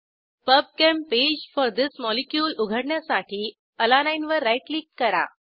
PubChem page for this molecule उघडण्यासाठी अलानीने वर राईट क्लिक करा